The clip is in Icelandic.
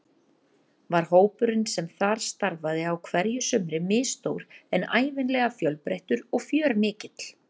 Var hópurinn sem þar starfaði á hverju sumri misstór en ævinlega fjölbreytilegur og fjörmikill.